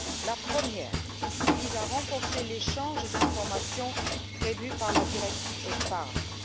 La première vise à renforcer l'échange d'informations prévu par la directive sur l'épargne.